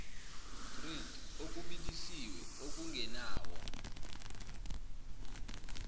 grilled okubilisiwe okungenawo